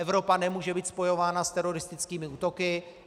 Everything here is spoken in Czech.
Evropa nemůže být spojována s teroristickými útoky.